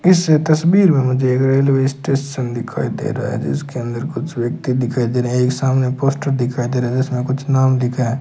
इस तस्वीर में मुझे एक रेलवे स्टेशन दिखाई दे रहा है जिसके अंदर कुछ व्यक्ति दिखाई दे रहे एक सामने पोस्टर दिखाई दे रहा है जिसमें कुछ नाम लिखा है।